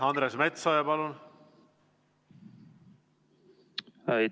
Andres Metsoja, palun!